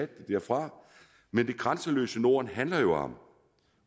det derfra men det grænseløse norden handler jo om